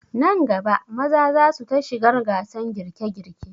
Nan gaba maza za su ta shigar gasan girke girke